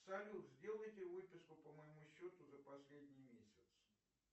салют сделайте выписку по моему счету за последний месяц